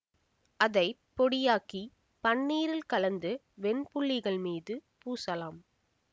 அதை பொடியாக்கி பன்னீரில் கலந்து வெண் புள்ளிகள் மீது பூசலாம்